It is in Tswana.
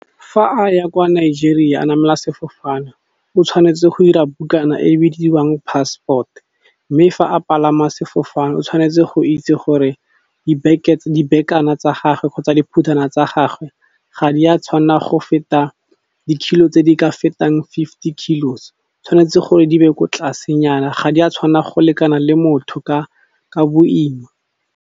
Fa a ya kwa Nigeria a namela sefofane o tshwanetse go ira bukana e bidiwang passport, mme fa a palama sefofane o tshwanetse go itse gore dibekana tsa gage kgotsa diphuthelwana tsa gage ga di a tshwanna go feta di-kilo tse di ka fetang fifty kilos, tshwanetse gore di be ko tlasenyana, ga di a tshwanna go lekana le motho ka boima.